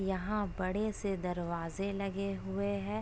यहां बड़े से दरवाजे लगे हुए है ।